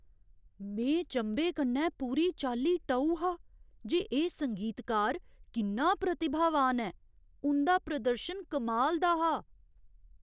में चंभे कन्नै पूरी चाल्ली टऊ हा जे एह् संगीतकार किन्ना प्रतिभावान ऐ। उं'दा प्रदर्शन कमाल दा हा।